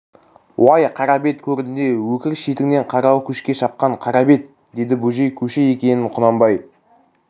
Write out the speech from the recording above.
уай қара бет көрінде өкір шетіңнен қаралы көшке шапқан қара бет деді бөжей көші екенін құнанбай